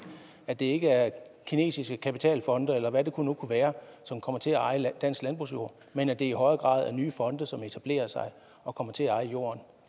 at det ikke er kinesiske kapitalfonde eller hvad det nu kunne være som kommer til at eje dansk landbrugsjord men at det i højere grad er nye fonde som etablerer sig og kommer til at eje jorden